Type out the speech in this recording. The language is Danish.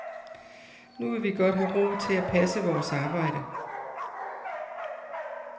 Nu vil vi godt have ro til at passe vores arbejde.